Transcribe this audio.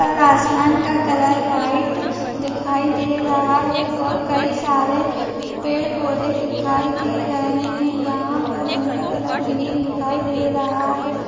और आसमान का कलर वाइट दिखाई दे रहा है और कई सारे पेड़-पौधे दिखाई दे रहे हैं यहाँ पर जिनका कलर ग्रीन दिखाई दे रहा है।